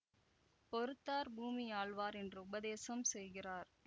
பொறுத்தார் பூமி ஆள்வார் என்று உபதேசம் செய்கிறார்